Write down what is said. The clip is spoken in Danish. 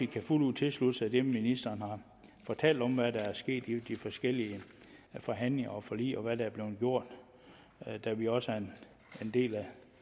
kan fuldt ud tilslutte sig det ministeren har fortalt om hvad der er sket i de forskellige forhandlinger og forlig og hvad der er blevet gjort da vi også er en del